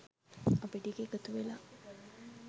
අපි ටික එකතු වෙලා